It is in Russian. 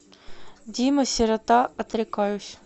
дима сирота отрекаюсь